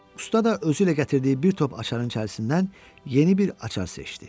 Usta da özü ilə gətirdiyi bir top açarın içərisindən yeni bir açar seçdi.